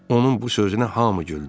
Onun bu sözünə hamı güldü.